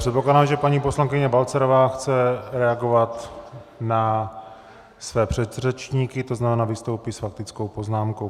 Předpokládám, že paní poslankyně Balcarová chce reagovat na své předřečníky, to znamená, vystoupí s faktickou poznámkou.